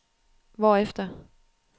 hvorefter